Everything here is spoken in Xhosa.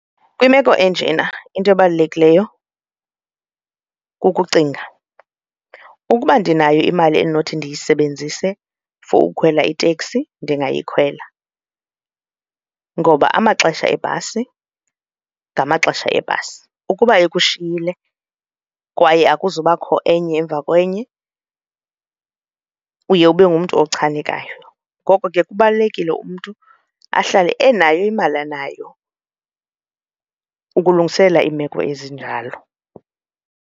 Kwimeko enjena into ebalulekileyo kukucinga, ukuba ndinayo imali endinothi ndiyisebenzise for ukukhwela iteksi ndingayikholelwa ngoba amaxesha ebhasi ngamaxesha ebhasi. Ukuba ikushiyile kwaye akuzubakho enye emva kwenye kuba uye ube ngumntu ochanekileyo, ngoko ke kubalulekile umntu ahlale enayo imali anayo ukulungiselela iimeko ezinjalo.